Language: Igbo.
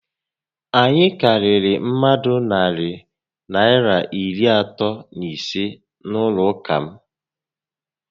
Anyị karịrị mmadụ narị Naịra iri atọ na ise n'ụlọ ụka m